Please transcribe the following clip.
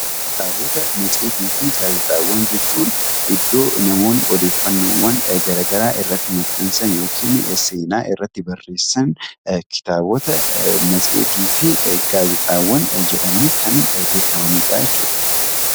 Kitaaba, matseetii fi gaazexaawwan jechuun iddoo namoonni odeeffannoowwan garaagaraa irratti maxxansan yookiin irratti barreessaan kitaabota matseetii fi gaazexaawwan jedhamanii kan beekamanidha jechuudha